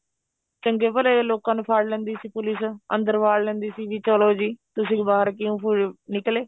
ਚੰਗੇ ਭਲੇ ਲੋਕਾ ਨੂੰ ਫੜ ਲੈਂਦੀ ਸੀ police ਅੰਦਰ ਵਾੜ ਲੈਂਦੀ ਸੀਗੀ ਚਲੋ ਜੀ ਤੁਸੀਂ ਬਾਹਰ ਕਿਉਂ ਨਿਕਲੇ